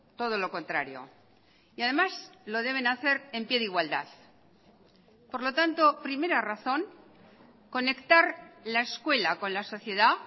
todo lo contrario y además lo deben hacer en pie de igualdad por lo tanto primera razón conectar la escuela con la sociedad